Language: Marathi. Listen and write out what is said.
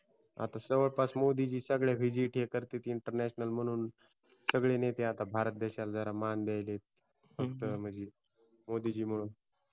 आता जवळपास मोदीजी सगळं VISIT हे करतेत INTERNATIONAL म्हणून सगळे नेते आता भारत देशाला मान द्यायलेत फक्त मोदीजीमुळे हो बरोबर हूम